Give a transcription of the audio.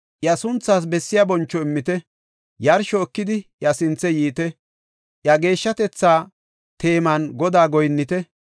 Iya sunthaas bessiya boncho immite; yarsho ekidi iya sinthe yiite; iya geeshshatetha teeman Godaa goyinnite.